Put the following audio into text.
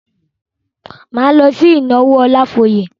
Máa lọ sí ìnáwó Ọlafóyè.